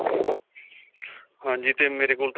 ਹਾਂਜੀ ਤੇ ਮੇਰੇ ਕੋਲ ਤੇ